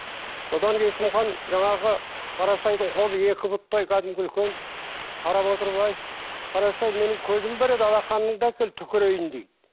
содан есім хан жаңағы қарасайдың қолы екі пұттай кәдімгі үлкен қарап отырып ай қарасай менің көзім бар еді алақаныңды әкел түкірейін ейді